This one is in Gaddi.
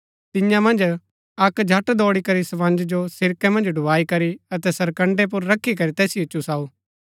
तियां मन्ज अक्क झट दौड़ी करी स्पंज जो सिरकै मन्ज डुबाई करी अतै सरकण्ड़ैं पुर रखी करी तैसिओ चुसाऊ